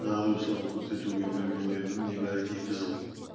жазушылығын көрсетуге берген мерзімі небәрі екі жыл